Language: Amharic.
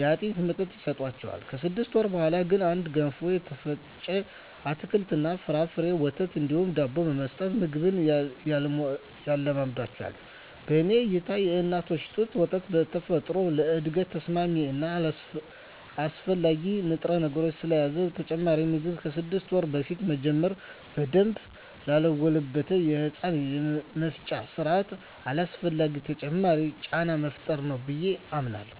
የአጥሚት መጠጥ ይሰጣቸዋል። ከስድስት ወር በኀላ ግን እንደ ገንፎ፣ የተፈጨ አትክልት እና ፍራፍሬ፣ ወተት እንዲሁም ዳቦ በመስጠት ምግብ ያስለምዷቸዋል። በኔ እይታ የእናት ጡት ወተት በተፈጥሮ ለእድገት ተስማሚ እና አስፈላጊ ንጥረነገሮችን ስለያዘ ተጨማሪ ምግብ ከስድስት ወር በፊት መጀመር በደንብ ላልጎለበተው የህፃናቱ የመፍጫ ስርአት አላስፈላጊ ተጨማሪ ጫና መፍጠር ነው ብየ አምናለሁ።